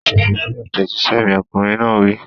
Fèsì sí àtẹ̀jíṣẹ́ mi! Ọkùnrin náà wí.